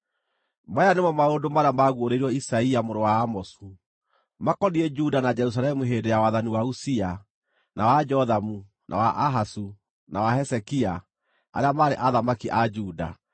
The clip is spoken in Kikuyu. Maya nĩmo maũndũ marĩa maaguũrĩirio Isaia mũrũ wa Amozu, makoniĩ Juda na Jerusalemu hĩndĩ ya wathani wa Uzia, na wa Jothamu, na wa Ahazu, na wa Hezekia, arĩa maarĩ athamaki a Juda.